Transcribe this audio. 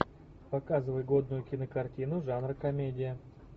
показывай годную кинокартину жанра комедия